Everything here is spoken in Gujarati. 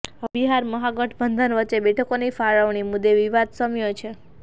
હવે બિહાર મહાગઠબંધન વચ્ચે બેઠકોની ફાળવણી મુદ્દે વિવાદ શમ્યો છે